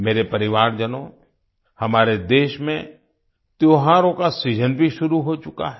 मेरे परिवारजनों हमारे देश में त्योहारों का सीजन भी शुरू हो चुका है